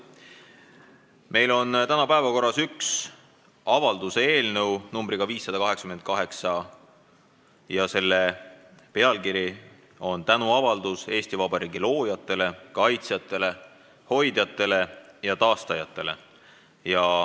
Meil on täna päevakorras üks avalduse eelnõu, numbriga 588, ja selle pealkiri on "Tänuavaldus Eesti Vabariigi loojatele, kaitsjatele, hoidjatele ja taastajatele".